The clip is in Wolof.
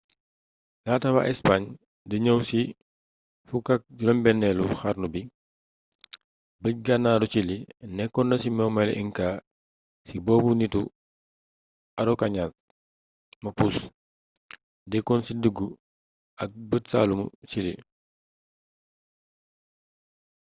laata wa ispaañ di ñëw ci 16eelu xarnu bi bëj-gànnaaru ciili nekkonna ci momeelu inca si boobë nittu araucanians mapuche dëkkon ci diggu ak bëj-saalumu ciili